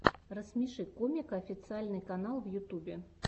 рассмеши комика официальный канал в ютубе